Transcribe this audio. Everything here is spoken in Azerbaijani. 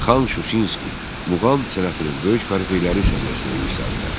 Xan Şuşinski muğam sənətinin böyük korifeyləri səviyyəsinə yüksəldilər.